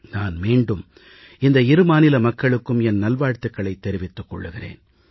நான் மீண்டும் இந்த இரு மாநில மக்களுக்கும் என் நல்வாழ்த்துகளைத் தெரிவித்துக் கொள்கிறேன்